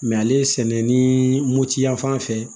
Mɛ ale sɛnɛ ni moti yan fan fɛ